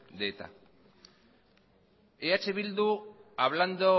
de eta eh bildu hablando